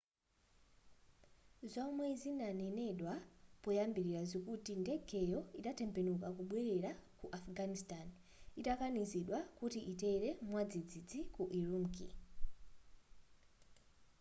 zomwe zanenedwa poyambilira zikuti ndegeyo idatembenuka kubwelera ku afghanistan itakanizidwa kuti itere mwadzidzi ku ürümqi